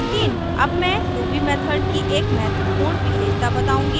अब मैं ruby method की एक महत्वपूर्ण विशेषता बताऊँगी